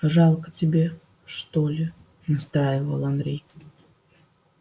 жалко тебе что ли настаивал андрей